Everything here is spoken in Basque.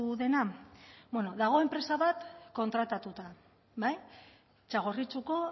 dena bueno dago enpresa bat kontratatuta bai txagorritxuko